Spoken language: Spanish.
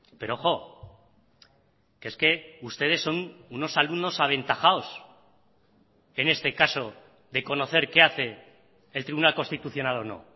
pero ojo que es que ustedes son unos alumnos aventajados en este caso de conocer qué hace el tribunal constitucional o no